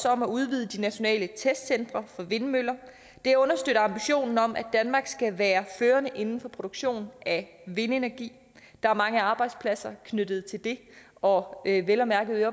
om at udvide de nationale testcentre for vindmøller det understøtter ambitionen om at danmark skal være førende inden for produktion af vindenergi der er mange arbejdspladser knyttet til det og vel at mærke